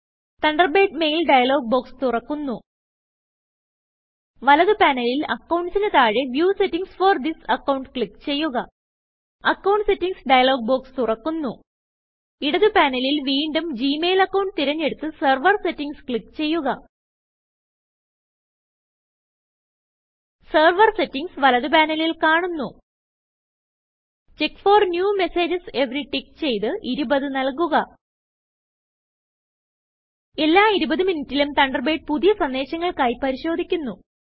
Thunderbird mail dialog box തുറക്കുന്നു വലത് പാനലിൽ Accountsന് താഴെ വ്യൂ സെറ്റിംഗ്സ് ഫോർ തിസ് accountക്ലിക്ക് ചെയ്യുക അക്കൌണ്ട് സെറ്റിംഗ്സ് ഡയലോഗ് ബോക്സ് തുറക്കുന്നു ഇടത് പാനലിൽ വീണ്ടും ജിമെയിൽ അക്കൌണ്ട് തിരഞ്ഞെടുത്ത് സെർവർ Settingsക്ലിക്ക് ചെയ്യുക സെർവർ സെറ്റിംഗ്സ് വലത് പാനലിൽ കാണുന്നു check for new messages every tick ചെയ്ത് 20 നല്കുക എല്ലാ 20 മിനിട്ടിലും തണ്ടർബേഡ് പുതിയ സന്ദേശങ്ങൾക്കായി പരിശോധിക്കുന്നു